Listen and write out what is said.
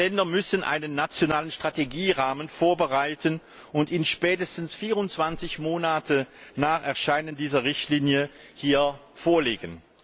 Die Länder müssen einen nationalen Strategierahmen vorbereiten und spätestens 24 Monate nach Erscheinen dieser Richtlinie hier vorlegen.